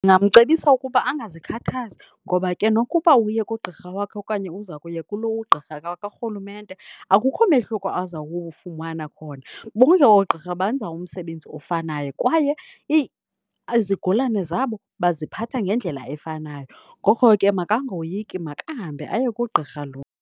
Ndingamcebisa ukuba angazikhathazi ngoba ke nokuba uye kugqirha wakhe okanye uza kuya kulo ugqirha karhulumente, akukho mehluko aza kuwufumana khona. Bonke oogqirha benza umsebenzi ofanayo, kwaye izigulane zabo baziphatha ngendlela efanayo. Ngoko ke makangoyiki, makahambe aye kugqirha lo.